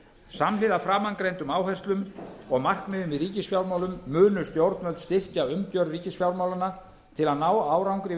samhliða framangreindum áherslum og markmiðum í ríkisfjármálum munu stjórnvöld styrkja umgjörð ríkisfjármálanna til að ná árangri við